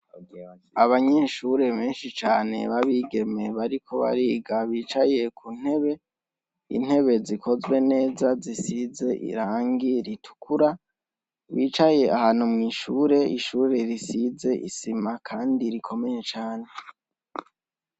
Abanyeshure benshi cane b’abigeme bariko bariga bicaye ku ntebe ,intebe zikozwe neza zisize irangi ritukura bicaye ahantu ,mwishure risize isima kandi rikomeye cane .